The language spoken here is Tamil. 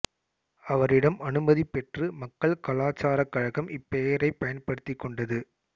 அவரிடம் அனுமதி பெற்று மக்கள் கலாச்சாரக் கழகம் இப்பெயரைப் பயன்படுத்திக் கொண்டது